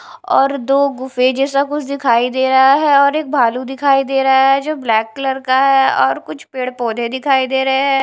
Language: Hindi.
और दो गुफे जैसा कुछ दिखाई दे रहा है और एक भालू दिखाई दे रहा है जो ब्लैक कलर का है और कुछ पेड़ पौधे दिखाई दे रहे हैं।